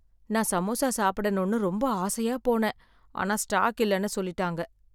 நான் சமோசா சாப்பிடணும்னு ரொம்ப ஆசையா போனேன், ஆனா ஸ்டாக் இல்லனு சொல்லிட்டாங்க.